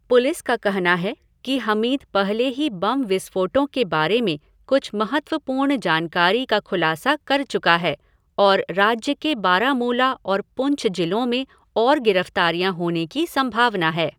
Police का कहना है कि हमीद पहले ही बम विस्फोटों के बारे में कुछ महत्वपूर्ण जानकारी का खुलासा कर चुका है और राज्य के बारामूला और पुंछ जिलों में और गिरफ़्तारियाँ होने की संभावना है।